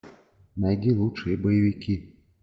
найди лучшие боевики